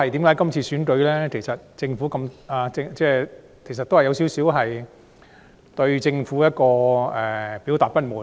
今次的選舉其實某程度上是表達對政府的不滿。